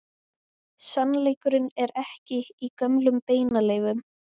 Sannleikurinn er ekki í gömlum beinaleifum.